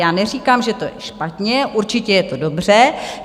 Já neříkám, že to je špatně, určitě je to dobře.